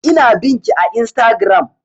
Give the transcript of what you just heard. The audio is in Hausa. Ina bin ki a instagram